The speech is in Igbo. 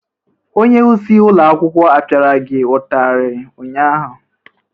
Onyeisi ụlọ akwụkwọ apịara gị ụtarị ụnyaahụ?